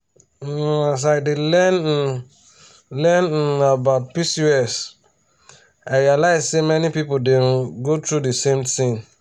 um as i dey learn um learn um about pcos i realize say many people dey um go through the same thing.